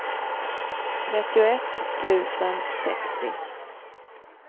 trettioett tusen sextio